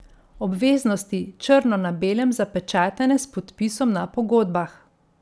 Obveznosti, črno na belem zapečatene s podpisom na pogodbah.